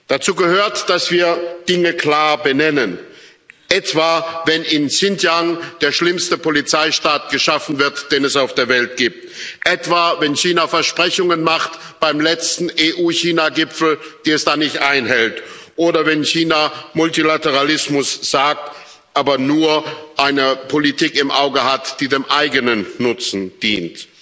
Dazu gehört, dass wir Dinge klar benennen, etwa wenn in Xinjiang der schlimmste Polizeistaat geschaffen wird, den es auf der Welt gibt, etwa wenn China Versprechungen macht beim letzten EU China Gipfel, die es dann nicht einhält, oder wenn China Multilateralismus sagt, aber nur eine Politik im Auge hat, die dem eigenen Nutzen dient.